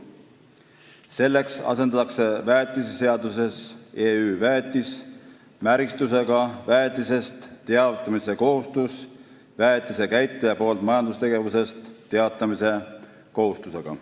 Selleks asendatakse väetiseseaduses "EÜ VÄETIS" märgistusega väetisest teavitamise kohustus väetise käitleja poolt majandustegevusest teatamise kohustusega.